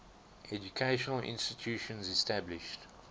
educational institutions established